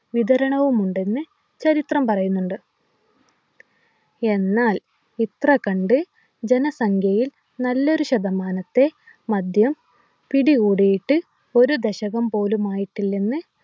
വിതരണവുമുണ്ടെന്ന് ചരിത്രം പറയുന്നുണ്ട് എന്നാൽ ഇത്ര കണ്ട് ജനസംഖ്യയിൽ നല്ലൊരു ശതമാനത്തെ മദ്യം പിടികൂടിയിട്ട് ഒരു ദശകം പോലുമായിട്ടില്ലെന്ന്